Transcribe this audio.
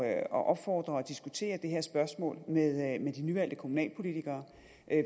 at opfordre og diskutere det her spørgsmål med med de nyvalgte kommunalpolitikere